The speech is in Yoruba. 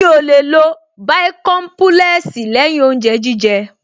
Mi ò lè lo bàìkọ́ḿpúlẹ́ẹ̀sì lẹ́yìn oúnjẹ jíjẹ